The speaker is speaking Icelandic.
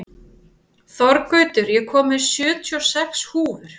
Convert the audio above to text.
Þorgautur, ég kom með sjötíu og sex húfur!